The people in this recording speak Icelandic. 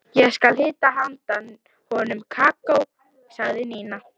Ég skal hita handa honum kakó sagði Nína.